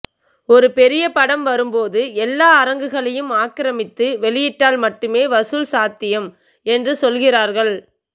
ஒருபெரிய படம் வரும்போது எல்லா அரங்குகளையும் ஆக்ரமித்து வெளியிட்டால் மட்டுமே வசூல் சாத்தியம் என்று சொல்கிறார்கள்